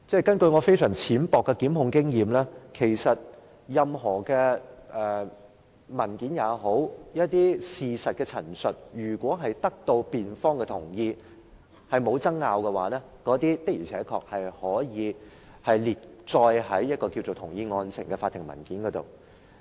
根據我非常淺薄的檢控經驗，任何文件或事實的陳述，如果得到辯方的同意、認為沒有爭拗，的確可以列載在"同意案情"的法庭文件上。